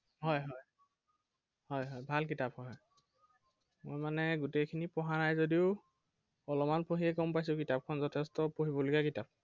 হয় হয় হয় হয় ভাল কিতাপ হয়। মই মানে গোটেইখিনি পঢ়া নাই যদিও, অলপমান পঢ়িয়ে গম পাইছো কিতাপখন যথেষ্ট পঢ়িবলগীয়া কিতাপ।